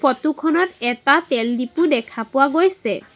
Photo খনত এটা তেলডিপু দেখা পোৱা গৈছে।